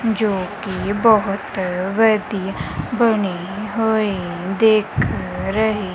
ਜੋ ਕਿ ਬਹੁਤ ਵਧੀਆ ਬਣੀ ਹੋਈ ਦਿਖ ਰਹੀ--